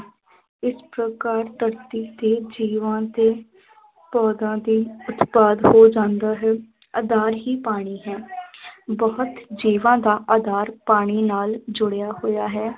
ਇਸ ਪ੍ਰਕਾਰ ਧਰਤੀ ਤੇ ਜੀਵਾਂ ਦੇ ਦੇ ਉਤਪਾਦ ਹੋ ਜਾਂਦਾ ਹੈ, ਆਧਾਰ ਹੀ ਪਾਣੀ ਹੈ ਬਹੁਤ ਜੀਵਾਂ ਦਾ ਆਧਾਰ ਪਾਣੀ ਨਾਲ ਜੁੜਿਆ ਹੋਇਆ ਹੈ,